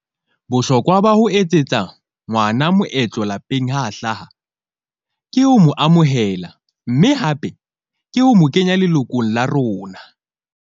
Bohlokwa ba ho etsetsa ngwana moetlo lapeng ha hlaha ke ho mo amohela, mme hape ke ho mo kenya lelokong la rona.